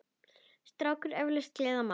krákur eflaust gleðja má.